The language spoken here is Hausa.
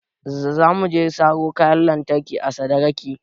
Za mu je mu saro kayan lantarki a sadaraki